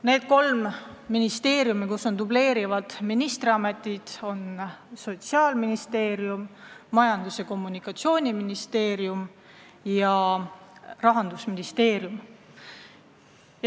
Need kolm ministeeriumi, kus on dubleerivad ministriametid, on Sotsiaalministeerium, Majandus- ja Kommunikatsiooniministeerium ja Rahandusministeerium.